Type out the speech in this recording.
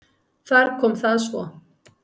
Þar kom það svo!